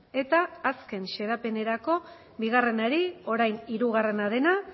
eta azken xedapenerako bigarrenari orain hirugarrena dena